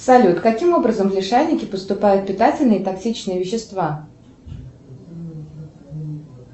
салют каким образом в лишайники поступают питательные и токсичные вещества